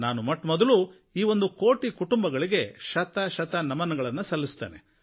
ನಾನು ಮೊಟ್ಟಮೊದಲು ಈ ಒಂದು ಕೋಟಿ ಕುಟುಂಬಗಳಿಗೆ ಶತಶತ ನಮನಗಳನ್ನು ಸಲ್ಲಿಸುತ್ತೇನೆ